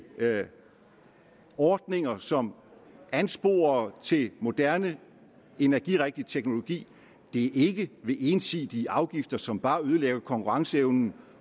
ordninger som ansporer til moderne energirigtig teknologi det er ikke ved ensidige afgifter som bare ødelægger konkurrenceevnen